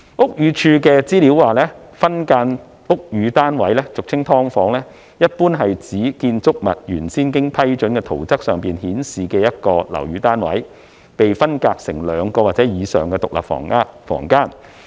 屋宇署的資料顯示，分間樓宇單位，俗稱"劏房"，一般是指在建築物原先經批准的圖則上顯示的一個樓宇單位被分間成兩個或以上的獨立房間。